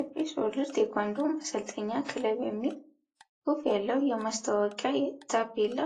fsworld ቴኳንዶ ማሰልጠኛ ክለብ የሚል ሁፍ ያለው የማስታወቂያ ታፔላ